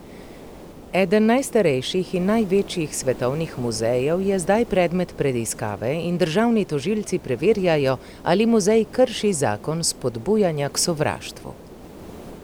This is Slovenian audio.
Eden najstarejših in največjih svetovnih muzejev je zdaj predmet preiskave in državni tožilci preverjajo, ali muzej krši zakon spodbujanja k sovraštvu.